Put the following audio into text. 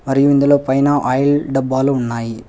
ఇందులో పైన ఆయిల్ డబ్బాలు ఉన్నాయి.